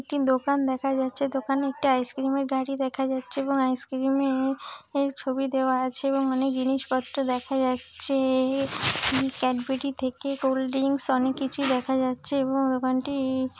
একটি দোকান দেখা যাচ্ছে। দোকানে একটি আইসক্রিম -এর গাড়ি দেখা যাচ্ছে এবং আইসক্রিমে-এর ছবি দেওয়া আছে এবং অনেক জিনিসপত্র দেখা যাচ্ছে-এ। ক্যাডবেরি থেকে কোল্ড ড্রিংকস অনেক কিছুই দেখা যাচ্ছে এবং দোকানটি --